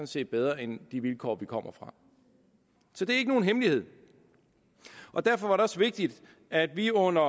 set bedre end de vilkår vi kommer fra så det er ikke nogen hemmelighed derfor var det også vigtigt at vi under